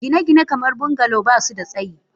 Gine-gine kamar bungalow ba su da tsayi.